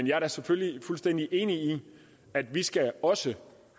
jeg er selvfølgelig fuldstændig enig i at vi også